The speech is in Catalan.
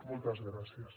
moltes gràcies